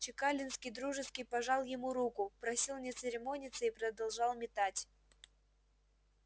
чекалинский дружески пожал ему руку просил не церемониться и продолжал метать